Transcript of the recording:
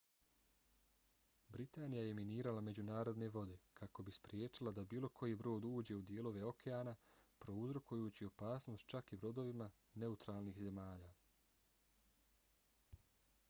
britanija je minirala međunarodne vode kako bi spriječila da bilo koji brod uđe u dijelove okeana prouzrokujući opasnost čak i brodovima neutralnih zemalja